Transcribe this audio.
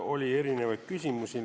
Oli erinevaid küsimusi.